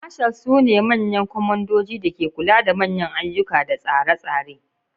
Marshals sune manyan kwamandojin da ke kula da manyan ayyuka da tsare-tsare.